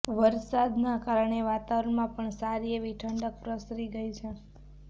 વરસાદનાં કારણે વાતાવરણમાં પણ સારી એવી ઠંડક પ્રસરી ગઇ છે